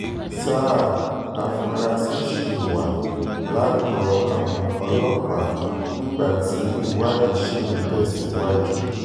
sáà àfúrásì ṣì wà lákọlò àwọn ọlọ́pàá nígbà tí ìwádìí ṣì ń tẹ̀síwájú